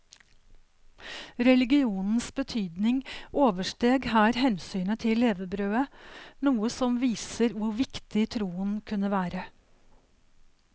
Religionens betydning oversteg her hensynet til levebrødet, noe som viser hvor viktig troen kunne være.